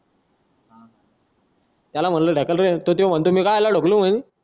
त्याला म्हंटल ढकल रे तो म्हणतो मी कशाला ढकलू